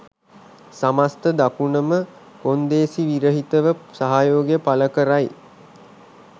සමස්ථ දකුණම කොන්දේසි විරහිතව සහයෝගය පළකරයි